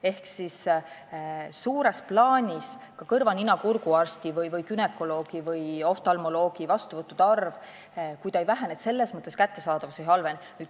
Ehk suures plaanis ei vähene ka kõrva-nina-kurguarsti, günekoloogi või oftalmoloogi vastuvõttude arv – selles mõttes teenuste kättesaadavus ei halvene.